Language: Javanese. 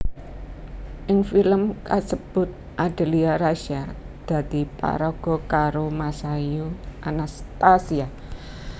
Ing filem kasebut Adelia Rasya dadi paraga karo Masayu Anastasia